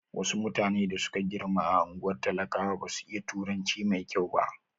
Wasu mutane da suka girma a ungwar talakawa basu iya turanci mai kyau.